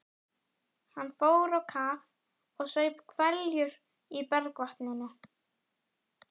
Hann fór á kaf og saup hveljur í bergvatninu.